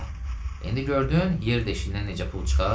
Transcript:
Ata, indi gördün yer deşiyindən necə pul çıxar?